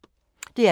DR P2